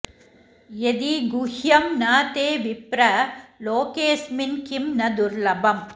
यदि गुह्यं न ते विप्र लोकेऽस्मिन्किं नु दुर्लभम्